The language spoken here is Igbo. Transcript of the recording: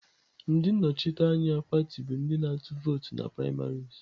Ndị nnọchiteanya pati bụ ndị na-atụ vootu na primaries.